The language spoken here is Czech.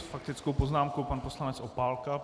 S faktickou poznámkou pan poslanec Opálka.